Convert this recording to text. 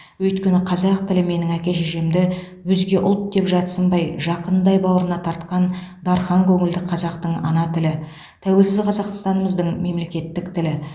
өйткені қазақ тілі менің әке шешемді өзге ұлт деп жатсынбай жақынындай бауырына тартқан дархан көңілді қазақтың ана тілі тәуелсіз қазақстанымыздың мемлекеттік тілі